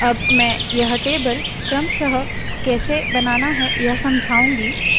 अब मैं यह टेबल क्रमशः कैसे बनाना है यह समझाऊँगी